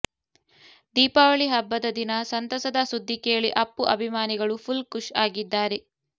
ದೀಪಾವಳಿ ಹಬ್ಬದ ದಿನ ಸಂತಸದ ಸುದ್ದಿ ಕೇಳಿ ಅಪ್ಪು ಅಭಿಮಾನಿಗಳು ಫುಲ್ ಖುಷ್ ಆಗಿದ್ದಾರೆ